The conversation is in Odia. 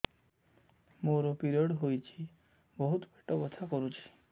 ମୋର ପିରିଅଡ଼ ହୋଇଛି ବହୁତ ପେଟ ବଥା କରୁଛି